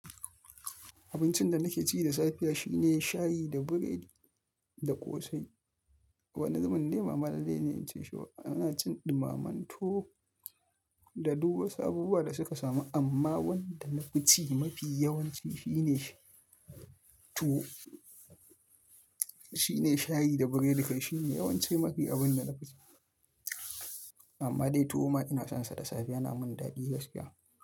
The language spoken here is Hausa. Abincin da nake ci da safe shine shayi da biredi da ƙosai. Wani zubin dai bama dai zan iya cinsa ba. Ina cin ɗumamen tuwo da duk wasu abubuwa da suka samu amma wanda nafi ci mafi yawanci shine tuwo. Shine shayi da biredi kai shine yawanci mafi abun da nafi ci. Amma dai tuwo ma ina sansa da safe yana min daɗi gaskiya.